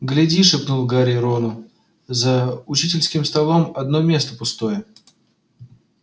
гляди шепнул гарри рону за учительским столом одно место пустое